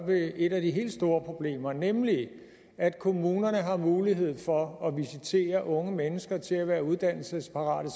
et af de helt store problemer nemlig at kommunerne har mulighed for at visitere unge mennesker til at være uddannelsesparate